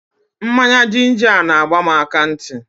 Mmanya jinja a na-agba m akantị.